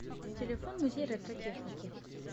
телефон музей ретро техники